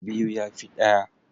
Biyu ya fi ɗaya.